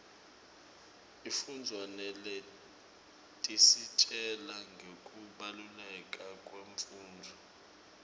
sifundza naletisitjela ngekubaluleka kwemfundvo